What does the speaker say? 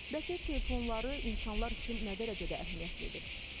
Bəs ev telefonları insanlar üçün nə dərəcədə əhəmiyyətlidir?